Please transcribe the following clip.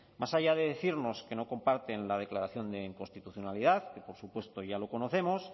más allá de decirnos que no comparten la declaración de inconstitucionalidad que por supuesto ya lo conocemos